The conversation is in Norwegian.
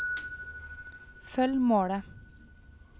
følg målet